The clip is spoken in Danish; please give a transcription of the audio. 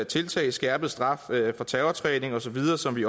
tiltag skærpet straf for terrortræning og så videre som vi